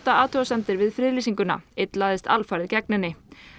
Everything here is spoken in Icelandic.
athugasemdir við friðlýsinguna einn lagðist alfarið gegn henni